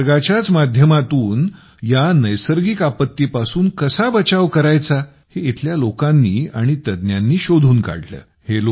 निसर्गाच्याच माध्यमातून या नैसर्गिक आपत्तीपासून कसा बचाव करायचा हे येथील लोकांनी आणि तज्ज्ञांनी शोधून काढले